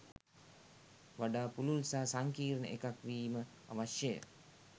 වඩා පුළුල් සහ සංකීර්ණ එකක් වීම අවශ්‍යය.